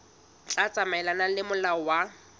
tla tsamaelana le molao wa